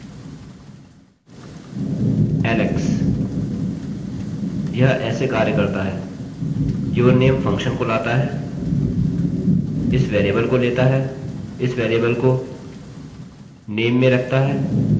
यह ऐसे कार्य करता है yourname फंक्शनfunction को लाता है इस वेरिएबल को लेता है इस वेरिएबल को name में रखता है और फिर एकोechoसे वेरिएबल को पढ़ता है यह है जो मैं कहना चाह रहा हूँ